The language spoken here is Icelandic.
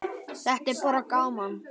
Þetta er bara gaman.